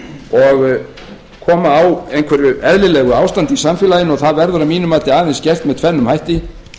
og koma á einhverju eðlilegu ástandi í samfélaginu og það verður að mínu mati aðeins gert með tvenn um hætti